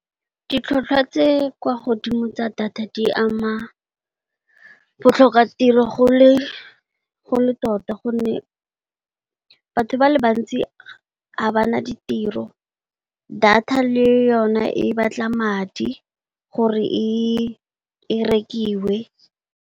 Ditlhatlhwa tse kwa godimo tsa data di ama botlhokatiro go le tota gonne, batho ba le bantsi ga ba na ditiro data le yone e batla madi gore e e rekiwe.